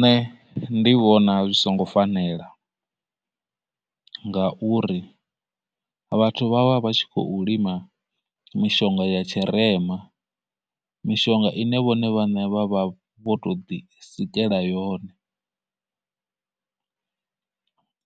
Nṋe ndi vhona zwi songo fanela, ngauri vhathu vha vha vha tshi khou lima mishonga ya tshirema, mishonga ine vhone vhaṋe vha vha vho tou ḓi sikela yone,